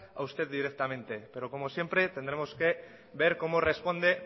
a usted directamente pero como siempre tendremos que ver cómo responde